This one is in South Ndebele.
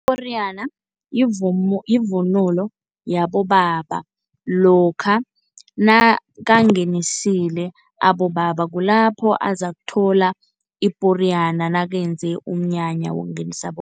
Iporiyana yivunulo yabobaba lokha nakangenisile abobaba, kulapho azakuthola iporiyana nakwenzeka umnyanya wokungenisa